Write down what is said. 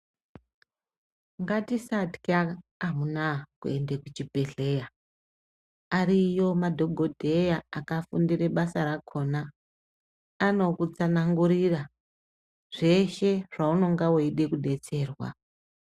Ngatisatywa amunaa kuende kuchibhedhlera ariyo madhogodheya akafundire basa rakhona anokutsanangurira zveshe zvaunonga weide kudetserwa.